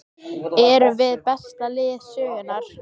Erum við besta lið sögunnar?